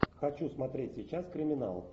хочу смотреть сейчас криминал